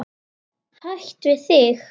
Hætt við þig.